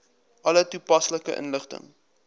alle toepaslike inligting